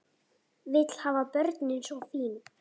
Vill hafa börnin svo fín.